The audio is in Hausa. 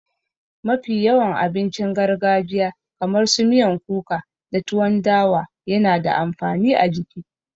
Mafi yawan abincin gargajiya kamar su miyan kuka da tuwan dawa yana da amfani a jiki